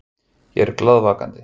Ég er glaðvakandi.